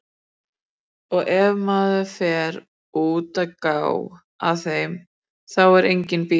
Og ef maður fer út að gá að þeim, þá er enginn bíll.